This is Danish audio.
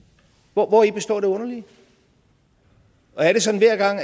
hvori består det underlige og er det sådan